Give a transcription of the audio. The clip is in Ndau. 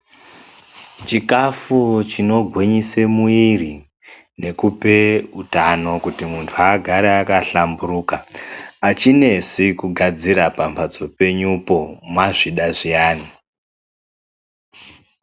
Chikafu chikogwinyise muiri nekupe utano kuti muntu agare akahlamburuka achinesi kugadzira pambatso penyupo, mwazvida zviyani.